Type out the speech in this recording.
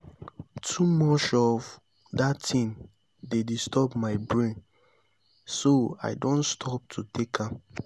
too much of dat thing dey disturb my brain so i don stop to take am